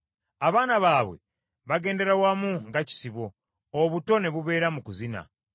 Abaana baabwe bagendera wamu nga kisibo; obuto ne bubeera mu kuzina.